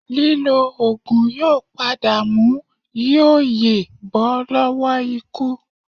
Lílò oògùn yóò padà mú yí o yè bọ́ lọ́wọ́ ikú